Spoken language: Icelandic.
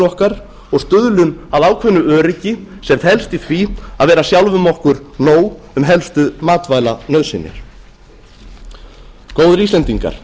okkar og stuðlum að ákveðnu öryggi sem felst í því að vera sjálfum okkur nóg um helstu matvælanauðsynjar góðir íslendingar